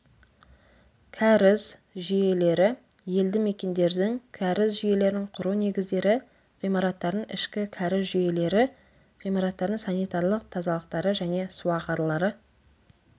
кәріз жүйелері елді мекендердің кәріз жүйелерін құру негіздері ғимараттардың ішкі кәріз жүйелері ғимараттардың санитарлық тазалықтары және суағарлары